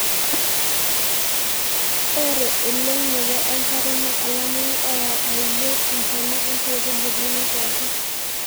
ore eleunoto enkare naa olameyu oyau aiyoi intona enkaitubului pookin